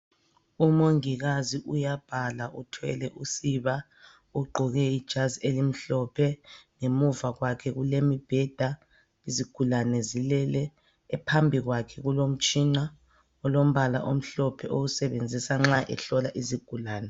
Umongikazi uyabhala uthwele usiba. Ugqoke ijazi elimhlophe. Ngemuva kwakhe kulemibheda. Izigulane zilele. Phambi kwakhe kulomtshina olombala omhlophe awusebenzisa nxa eselapha izigulane.